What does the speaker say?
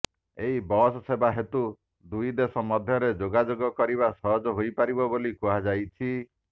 ଏହି ବସ୍ ସେବା ହେତୁ ଦୁଇଦେଶ ମଧ୍ୟରେ ଯୋଗାଯୋଗ କରିବା ସହଜ ହୋଇପାରିବ ବୋଲି କୁହଯାଉଛି